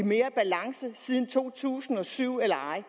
i mere balance siden to tusind og syv eller ej